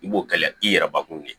I b'o kɛ ya i yɛrɛ bakun de